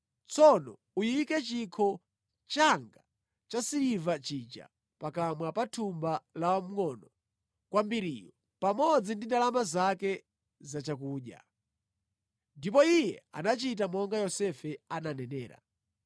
Tsono uyike chikho changa cha siliva chija, pakamwa pa thumba la wamngʼono kwambiriyu pamodzi ndi ndalama zake za chakudya” Ndipo iye anachita monga Yosefe ananenera.